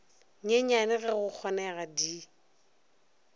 nyenyane ge go kgonega di